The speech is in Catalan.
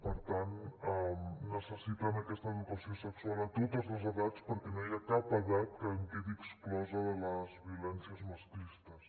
per tant necessiten aquesta educació sexual a totes les edats perquè no hi ha cap edat que en quedi exclosa de les violències masclistes